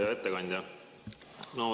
Hea ettekandja!